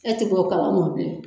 Ɛ tɛ' kala mɔ bilen.